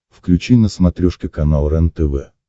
включи на смотрешке канал рентв